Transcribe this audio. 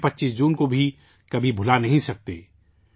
اس لئے ہم 25 جون کو بھی کبھی فراموش نہیں کرسکتے